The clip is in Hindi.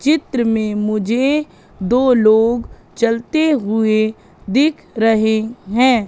चित्र में मुझे दो लोग चलते हुएं दिख रहे हैं।